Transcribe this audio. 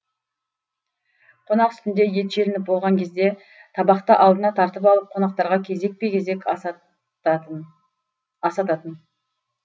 қонақ үстінде ет желініп болған кезде табақты алдына тартып алып қонақтарға кезекпе кезек асататын